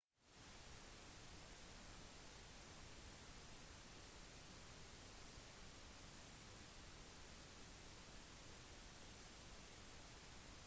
latvia og slovakia har begge utsatt prosessen med å slutte seg til acta